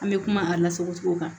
An bɛ kuma a lasagocogo kan